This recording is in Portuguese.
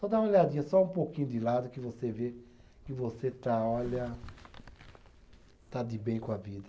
Só dá uma olhadinha, só um pouquinho de lado, que você vê que você está, olha, está de bem com a vida.